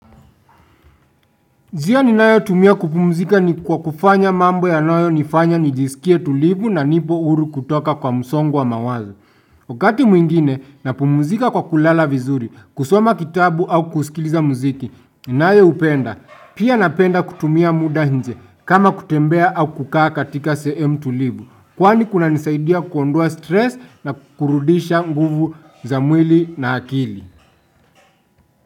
Njia ninayo tumia kupumzika ni kwa kufanya mambo yanayo nifanya nijisikie tulivu na nipo huru kutoka kwa msongwa wa mawazo. Wakati mwingine na pumuzika kwa kulala vizuri, kusoma kitabu au kusikiliza muziki, ninayo upenda. Pia napenda kutumia mda nje kama kutembea au kukaa katika sehemu tulivu. Kwani kuna nisaidia kuondoa stress na kurudisha nguvu za mwili na akili.